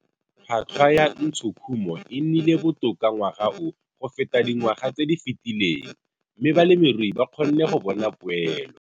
Tlhwatlhwa ya ntshokhumo e nnile botoka ngwaga o go feta dingwaga tse di fetileng, mme balemirui ba kgonne go bona poelo.